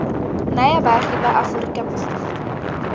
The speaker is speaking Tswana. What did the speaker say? naya baagi ba aforika borwa